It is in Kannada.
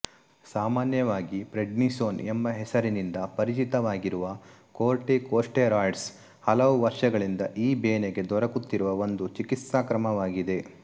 ಸಾಮಾನ್ಯವಾಗಿ ಪ್ರೆಡ್ನಿಸೋನ್ ಎಂಬ ಹೆಸರಿನಿಂದ ಪರಿಚಿತವಾಗಿರುವ ಕೋರ್ಟಿಕೊಸ್ಟೆರಾಯ್ಡ್ಸ್ ಹಲವು ವರ್ಷಗಳಿಂದ ಈ ಬೇನೆಗೆ ದೊರಕುತ್ತಿರುವ ಒಂದು ಚಿಕಿತ್ಸಾಕ್ರಮವಾಗಿದೆ